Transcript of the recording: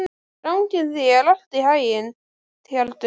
Gangi þér allt í haginn, Tjaldur.